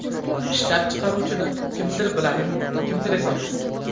Ishlab chiqaruvchini kimdir biladi, kimdir esa yo‘q.